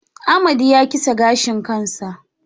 Amadi ya kitse gashin kansa